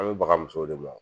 An bɛ baga musow de ma wo!